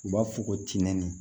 U b'a fɔ ko tin